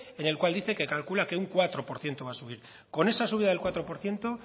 en el cual dice que calcula que un cuatro por ciento va a subir con esa subida del cuatro por ciento